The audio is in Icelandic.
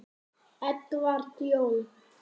Edward Jón.